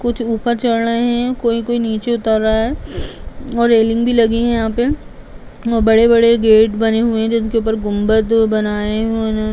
कुछ ऊपर चड रहे है कोई कोई नीचे उतर रहा है और रैलिंग लगी हुई है। बड़े-बड़े गेट बने हुए हैं जिनके ऊपर गुंबद बनाए --